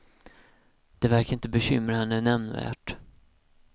Det verkar inte bekymra henne nämnvärt.